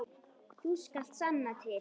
Þú skalt sanna til.